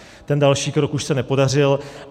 Ten další krok už se nepodařil.